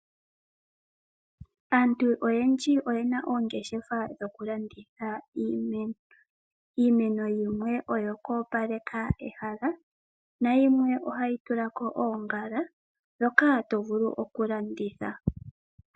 Aantu oyendji oyena oongeshefa dhokulanditha iimeno. Iimeno yimwe oyo kuopaleka ehala. Na yimwe ohayi tulako oongala ndhoka hatu vulu okulanditha.